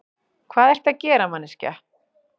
Hvað ertu að gera, manneskja?